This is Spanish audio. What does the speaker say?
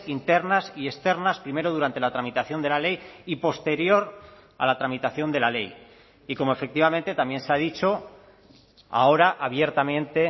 internas y externas primero durante la tramitación de la ley y posterior a la tramitación de la ley y como efectivamente también se ha dicho ahora abiertamente